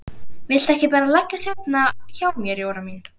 Viltu ekki bara leggjast hérna hjá mér Jóra mín.